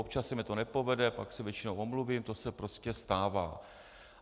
Občas se mi to nepovede, pak se většinou omluvím, to se prostě stává.